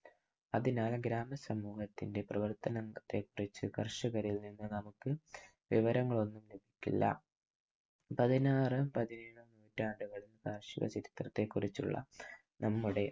അതിനാൽ ഗ്രാമ സമൂഹത്തിന്‍റെ പ്രവർത്തനങ്ങളെക്കുറിച്ച് കർഷകരിൽ നിന്ന് നമുക്ക് വിവരങ്ങൾ ഒന്നും ലഭിക്കില്ല. പതിനാറ് പതിനേഴ് നൂറ്റാണ്ടുകളിൽ കാർഷിക ചരിത്രത്തെക്കുറിച്ചുള്ള നമ്മുടെ